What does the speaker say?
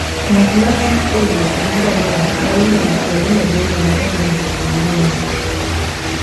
Ng'at ma thi e wuoth gi ngamia nyalo neno kuonde maboyo ma onge mtokni mang'eny.